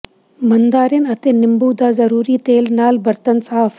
mandarin ਅਤੇ ਨਿੰਬੂ ਦਾ ਜ਼ਰੂਰੀ ਤੇਲ ਨਾਲ ਬਰਤਨ ਸਾਫ਼